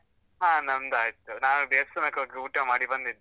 ಹ ನಮ್ದ್ ಆಯ್ತು, ನಾವ್ ದೇವಸ್ಥಾನಕ್ಕೆ ಹೋಗಿ ಊಟ ಮಾಡಿ ಬಂದಿದ್ದು.